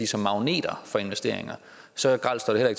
som magneter for investeringer så grelt står det